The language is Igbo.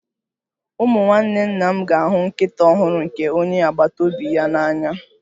Ụmụ nwanne nna m ga-ahụ nkịta ọhụrụ nke onye agbata obi ya n'anya